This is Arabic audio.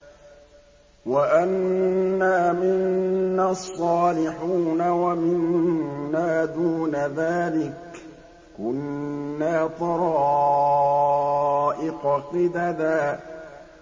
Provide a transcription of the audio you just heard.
وَأَنَّا مِنَّا الصَّالِحُونَ وَمِنَّا دُونَ ذَٰلِكَ ۖ كُنَّا طَرَائِقَ قِدَدًا